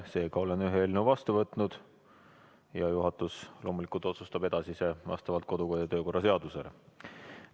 Seega olen ühe eelnõu vastu võtnud ja juhatus loomulikult otsustab edasise menetlemise vastavalt kodu- ja töökorra seadusele.